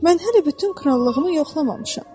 Mən hələ bütün krallığımı yoxlamamışam.